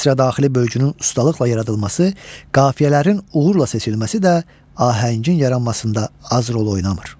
Misradaxili bölgünün ustalıqla yaradılması, qafiyələrin uğurla seçilməsi də ahəngin yaranmasında az rol oynamır.